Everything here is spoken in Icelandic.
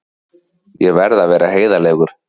Ég verð að vera heiðarlegur.